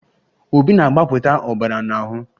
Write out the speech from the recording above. Obi na-agbapụta ọbara n'ahụ